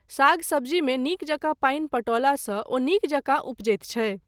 साग सब्जी मे नीक जकाँ पानि पटौलासँ ओ नीक जकाँ उपजैत छै।